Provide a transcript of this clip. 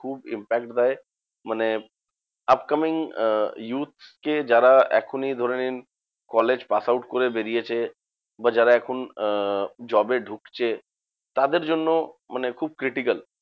খুব impact দেয়। মানে upcoming আহ youth কে যারা এখনই ধরে নিন কলেজ pass out করে বেরিয়েছে বা যারা এখন আহ job এ ঢুকছে, তাদের জন্য মানে খুব critical.